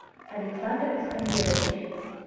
александр искандерович